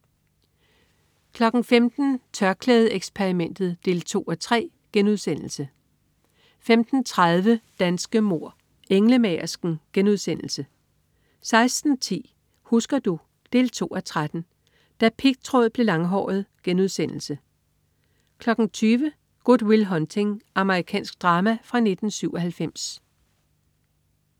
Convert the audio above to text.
15.00 TørklædeXperimentet 2:3* 15.30 Danske mord: Englemagersken* 16.10 Husker du? 2:13. Da pigtråd blev langhåret* 20.00 Good Will Hunting. Amerikansk drama fra 1997